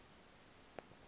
le nto ke